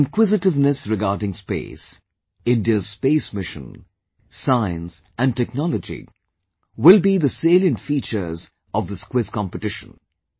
Your inquisitiveness regarding Space, India's Space Mission, Science and Technology will be the salient features of this Quiz Competition